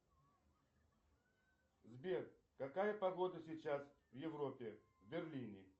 сбер какая погода сейчас в европе в берлине